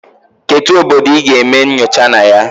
Kedu obodo ị ga-eme nyocha na ya?